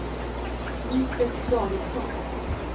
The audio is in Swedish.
Lisbet Davidsson